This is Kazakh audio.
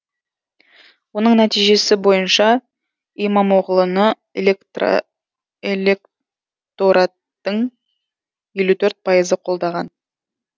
оның нәтижесі бойынша имамоғлыны электораттың елу төрт пайызы қолдаған